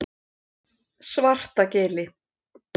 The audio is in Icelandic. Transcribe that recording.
Svartagili